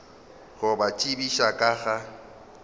go ba tsebiša ka ga